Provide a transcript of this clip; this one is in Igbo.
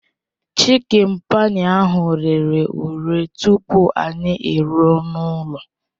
Chikịn payi ahụ rere ure tupu anyị eruo n'ụlọ